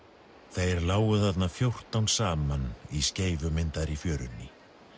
þeir lágu þarna fjórtán saman í fjörunni